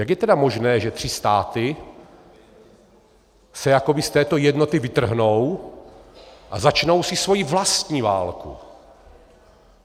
Jak je tedy možné, že tři státy se jakoby z této jednoty vytrhnou a začnou si svoji vlastní válku?